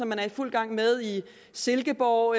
man er i fuld gang med i silkeborg